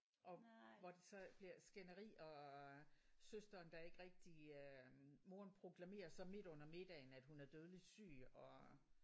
Og hvor de så bliver skænderi og søsteren der ikke rigtig øh moren proklamerer så midt under middagen at hun er dødeligt syg og